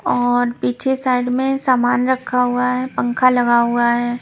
और पीछे साइड में सामान रखा हुआ है पंखा लगा हुआ है।